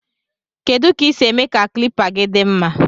Kedu ka isi eme ka klipa gi di mma.